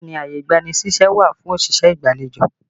Bẹẹ ni, ààyè ìgbani ṣíṣẹ́ wà fún òṣìṣẹ́ ìgbàlejò